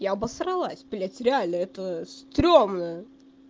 я обосралась блядь реально это стрёмно